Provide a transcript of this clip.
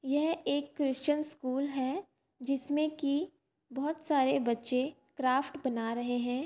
ये एक Christian school है। जिसमें की बहुत सारे बच्चे क्राफ्ट बना रहै है।